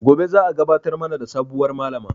Gobe za a gabatar mana da sabuwar Malama